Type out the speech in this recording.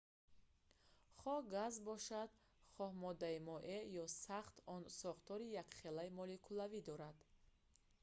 хоҳ газ бошад хоҳ моддаи моеъ ё сахт он сохтори якхелаи молекулавӣ дорад